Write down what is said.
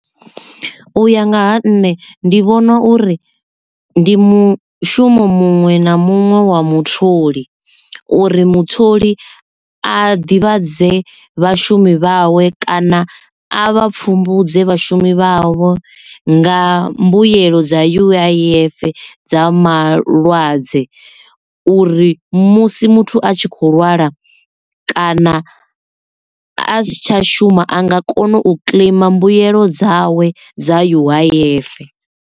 U ya nga ha nṋe ndi vhona uri ndi mushumo muṅwe na muṅwe wa mutholi uri mutholi a ḓivhadze vhashumi vhawe kana a vha pfumbudze vhashumi vhavho nga mbuyelo dza U_I_F dza malwadze uri musi muthu a tshi kho lwala kana a si tsha shuma a nga kona u kiḽeima mbuelo dzawe dza U_I_F.